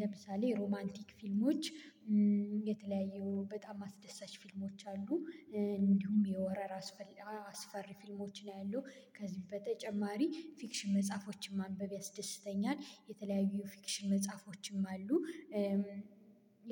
ለምሳሌ ሮማንቲክ ፊልሞች። የተለያዩ በጣም አስደሳች ፊልሞች አሉ። እንዲሁም የሆረር አስፈሪ ፊልሞችን አያለው ከዚህ በተጨማሪ ፊክሽን መጽሐፎችን ማንበብ ያስደስተኛል የተለያዩ ፊክሽን መጽሐፎችም አሉ።